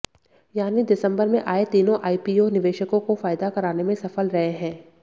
यानी दिसंबर में आए तीनों आईपीओ निवेशकों को फायदा कराने में सफल रहे हैं